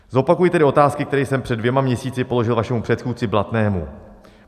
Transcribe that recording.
Zopakuji tedy otázky, které jsem před dvěma měsíci položil vašemu předchůdci Blatnému.